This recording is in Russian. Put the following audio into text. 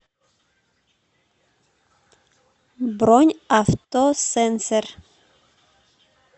бронь авто сенсер